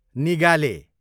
निगाले